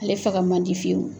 Ale faga man di fiyewu!